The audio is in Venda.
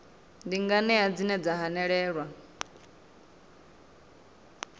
ndi nganea dzine dza hanelelwa